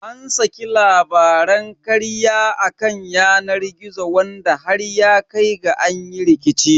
An saki labaran karya a kan yanar gizo wanda har ya kai ga an yi rikici.